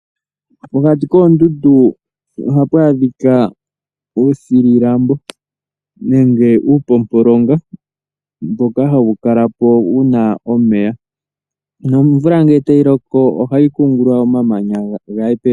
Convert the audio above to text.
Pokati koondundu oha pu adhika uuthililambo nenge uupompolonga mboka ha wu kala po wuna omeya, na omvula ngele ta yi loko oha yi kungulula omamanya ga ye pevi.